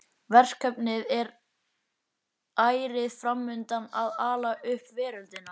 Verkefnið er ærið fram undan að ala upp veröldina.